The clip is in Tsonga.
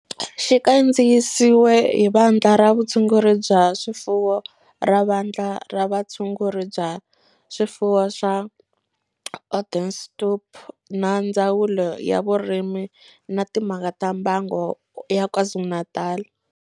Xi kandziyisiwe hi Vandla ra Vutshunguri bya swifuwo ra Vandla ra Vutshunguri bya swifuwo swa Onderstepoort na Ndzawulo ya Vurimi na Timhaka ta Mbango ya KwaZulu-Natal.